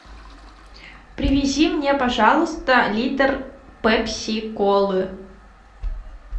привези мне пожалуйста литр пепси колы